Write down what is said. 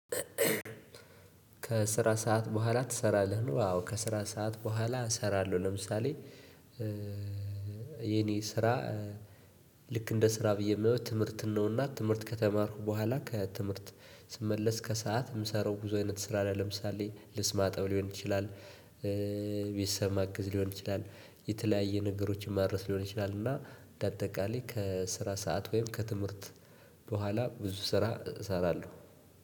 ከስራ ሰዓት በኋላ ትሰራለህ ነው? አዎ ከስራ ሰዓት በኋላ እሰራለሁ። ለምሳሌ የኔ ስራ ልክ እንደ ስራ ብዬ እማየው ትምህርትን ነው። እና ትምህርት ከተማርኩ በኋላ ከትምህርት ስመለስ ከሰአት እምሰራው ብዙ አይነት ስራ አለ። ለምሳሌ ልብስ ማጠብ ሊሆን ይችላል። ቤተሰብ ማግዝ ሊሆን ይችላል የተለያየ ነገሮችን ማድረስ ሊሆን ይችላል። እና እንደ አጠቃላይ ከስራ ሰዓት ወይም ከትምህርት በኋላ ብዙ ስራ እሰራለሁ።